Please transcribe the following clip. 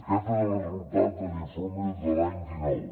aquest és el resultat de l’informe de l’any dinou